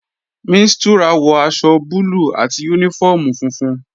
Mistura wọ aṣọ búlù àti uniform funfun.